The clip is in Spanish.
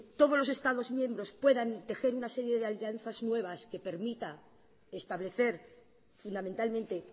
todos los estados miembros puedan tejer una serie de alianzas nuevas que permita establecer fundamentalmente